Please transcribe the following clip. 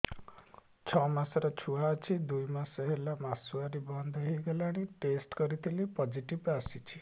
ଛଅ ମାସର ଛୁଆ ଅଛି ଦୁଇ ମାସ ହେଲା ମାସୁଆରି ବନ୍ଦ ହେଇଗଲାଣି ଟେଷ୍ଟ କରିଥିଲି ପୋଜିଟିଭ ଆସିଛି